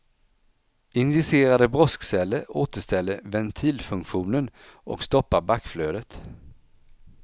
Injicerade broskceller återställer ventilfunktionen och stoppar backflödet.